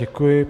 Děkuji.